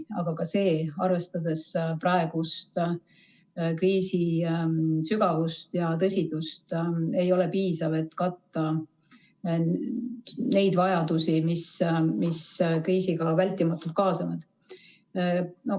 Aga ka see, arvestades praegust kriisi sügavust ja tõsidust, ei ole piisav, et katta neid vajadusi, mis kriisiga vältimatult kaasnevad.